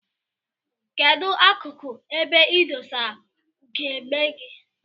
Kedu akuku ebe idosara ugegbe gi?